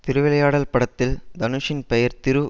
திருவிளையாடல் படத்தில் தனுஷின் பெயர் திரு